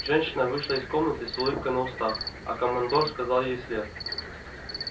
женщина вышла из комнаты с улыбкой на устах а командор сказал ей вслед